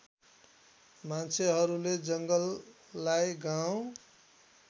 मान्छेहरूले जङ्गललाई गाउँ